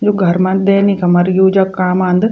यु घर मा दैनिक हमार यूज़ क काम आंद।